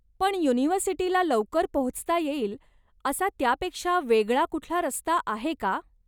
पण युनिव्हर्सिटीला लवकर पोहोचता येईल असा त्यापेक्षा वेगळा कुठला रस्ता आहे का?